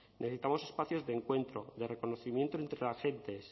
necesitamos espacios de encuentro de reconocimiento entre agentes